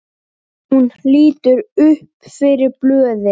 Það er allt svo grátt.